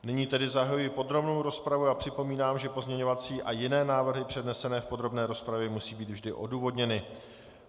Nyní tedy zahajuji podrobnou rozpravu a připomínám, že pozměňovací a jiné návrhy přednesené v podrobné rozpravě musí být vždy odůvodněny.